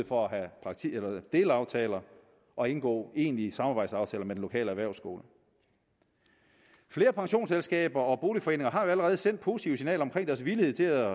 for at have delaftaler og indgå egentlige samarbejdsaftaler med den lokale erhvervsskole flere pensionsselskaber og boligforeninger har jo allerede sendt positive signaler om deres villighed til at